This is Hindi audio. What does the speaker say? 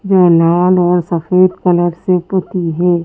जो लाल और सफेद कलर से पुती है।